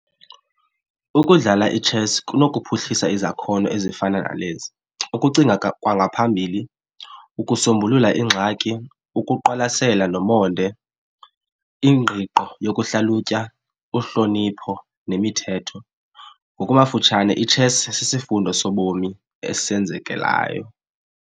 Ukudlala i-chess kunophuhlisa izakhono ezifana nalezi. Ukucinga kwangaphambili, ukusombulula ingxaki, ukuqwalasela nomonde, ingqiqo yokuhlalutya, uhlonipho nemithetho. Ngokwamafutshane, i-chess sisifundo sobomi esenzekelayo.